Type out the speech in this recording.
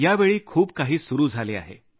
यावेळी खूप काही सुरु झाले आहे